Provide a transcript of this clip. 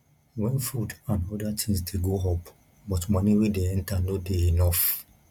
when food and oda things dey go up but money wey dey enter no dey enough